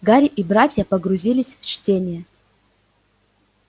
гарри и братья погрузились в чтение